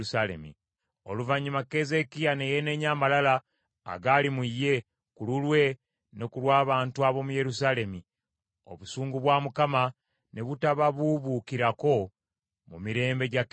Oluvannyuma, Keezeekiya ne yeenenya amalala agaali mu ye, ku lulwe ne ku lw’abantu ab’omu Yerusaalemi, ekiruyi kya Mukama ne butababuubuukirako mu mirembe gya Keezeekiya.